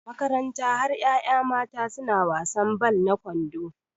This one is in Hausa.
Makaranta har yaya mata suna wasan ball na kwando